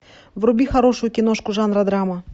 вруби хорошую киношку жанра драма